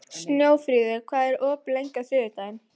Snjófríður, hvað er opið lengi á þriðjudaginn?